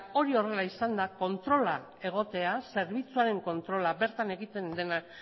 hori horrela izanda zerbitzuaren kontrola bertan egotea bertan egiten